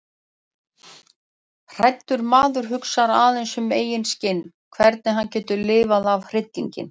Hræddur maður hugsar aðeins um eigið skinn, hvernig hann getur lifað af hryllinginn.